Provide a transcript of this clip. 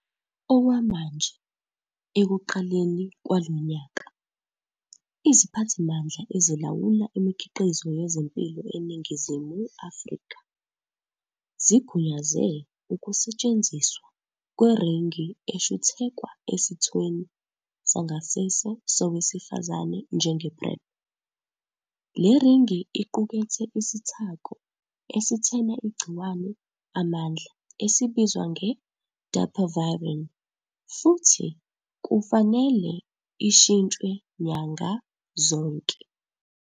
Okwamanje, ekuqaleni kwalo nyaka, iZiphathimandla Ezilawula Imikhiqizo Yezempilo eNingizimu Afrika zigunyaze ukusetshenziswa kweringi eshuthekwa esithweni sangasese sowesifazane njenge-PrEP. Le ringi iqukethe isithako esithena igciwane amandla esibizwa nge-dapivirine futhi kufanele ishintshwe nyanga zonke.